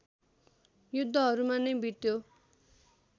युद्धहरूमा नै बित्यो